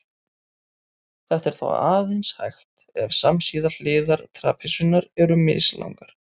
Þetta er þó aðeins hægt ef samsíða hliðar trapisunnar eru mislangar.